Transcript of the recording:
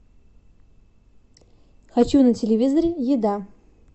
хочу на телевизоре еда